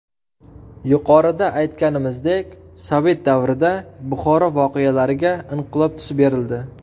Yuqorida aytganimizdek, Sovet davrida Buxoro voqealariga inqilob tusi berildi.